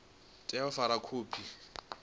tea u fara khophi sa